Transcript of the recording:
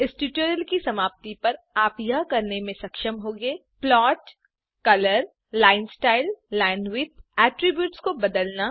इस ट्यूटोरियल की समाप्ति पर आप यह करने में सक्षम होंगे 1प्लॉट कलर लाइन styleलाइनविड्थ एट्रिब्यूट्स को बदलना